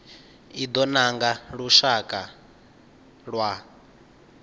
i do nanga lushaka lwa